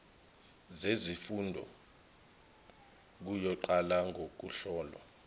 zezifunda kuyoqala ngokuhlolwa